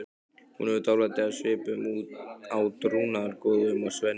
Hún hefur dálæti á svipuðum átrúnaðargoðum og Svenni.